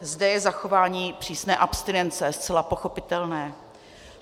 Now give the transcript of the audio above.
Zde je zachování přísné abstinence zcela pochopitelné.